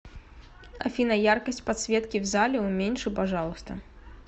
афина яркость подсветки в зале уменьши пожалуйста